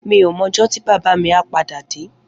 Mi ó mò òjò ti bàbá mi à pàdá dé